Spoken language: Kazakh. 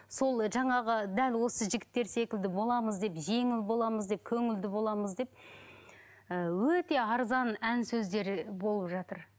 сол жаңағы дәл осы жігіттер секілді боламыз деп жеңіл боламыз деп көңілді боламыз деп ііі өте арзан ән сөздері болып жатыр